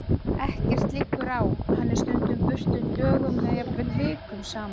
Ekkert liggur á, hann er stundum burtu dögum eða jafnvel vikum saman.